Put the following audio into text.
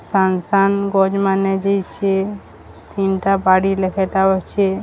ସାଙ୍ଗ ସାଙ୍ଗ ଗଜ ମାନେ ଯାଇଛି ତିନ ଟା ବାଡି ଲେଖାଁ ଟା ଅଛି।